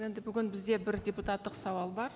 енді бүгін бізде бір депутаттық сауал бар